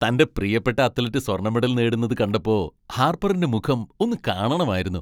തന്റെ പ്രിയപ്പെട്ട അത്ലറ്റ് സ്വർണ്ണ മെഡൽ നേടുന്നത് കണ്ടപ്പോ ഹാർപ്പറിന്റെ മുഖം ഒന്നു കാണണമായിരുന്നു!